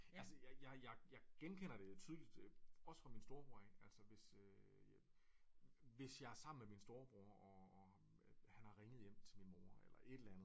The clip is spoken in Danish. Altså jeg jeg genkender det tydeligt også fra min storebror af altså hvis jeg øh hvis jeg er sammen med min storebror og han har ringet hjem til min mor eller et eller andet